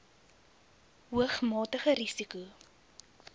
hoog matige risiko